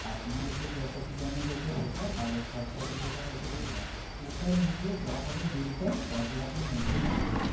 আপনার যে property damage হয়েছে সেটা আর third party র যেটা হয়েছে সেটা total মিলিয়ে যা হবে bill টা এক লাখ এর মধ্যেই হবে ma'am